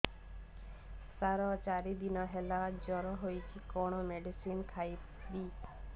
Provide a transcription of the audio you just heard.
ସାର ଚାରି ଦିନ ହେଲା ଜ୍ଵର ହେଇଚି କଣ ମେଡିସିନ ଖାଇବି